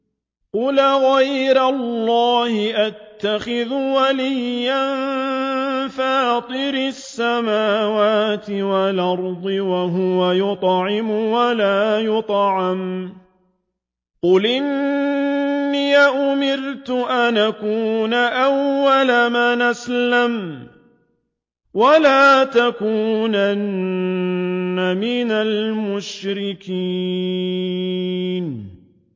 قُلْ أَغَيْرَ اللَّهِ أَتَّخِذُ وَلِيًّا فَاطِرِ السَّمَاوَاتِ وَالْأَرْضِ وَهُوَ يُطْعِمُ وَلَا يُطْعَمُ ۗ قُلْ إِنِّي أُمِرْتُ أَنْ أَكُونَ أَوَّلَ مَنْ أَسْلَمَ ۖ وَلَا تَكُونَنَّ مِنَ الْمُشْرِكِينَ